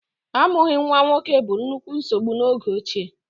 Amụghị nwa nwoke bụ nnukwu nsogbu n'oge ochie.